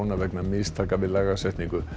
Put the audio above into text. vegna mistaka við lagasetningu